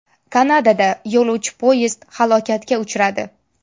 Kanadada yo‘lovchi poyezd halokatga uchradi.